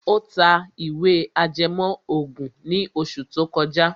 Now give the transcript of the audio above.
Ó ta ìwé ìtàn ajẹmọ́ ògùn ní oṣù tó kọjá.